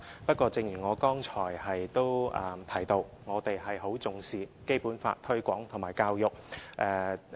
不過，正如我剛才提到，我們很重視《基本法》的推廣和教育。